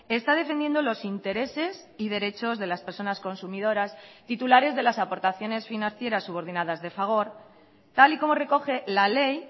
está defendiendo los intereses y derechos de las personas consumidoras titulares de las aportaciones financieras subordinadas de fagor tal y como recoge la ley